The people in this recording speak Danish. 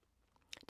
DR1